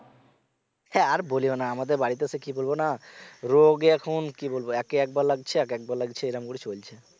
হ্যা আর বলিও না আমাদের বাড়িতে হচ্ছে কি বলব না রোগে এখন কি বলব একে একবার লাগছে এক এক বার লাগছে এরকম করে চলছে